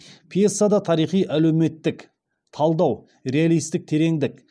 пьесада тарихи әлеуметтік талдау реалистік тереңдік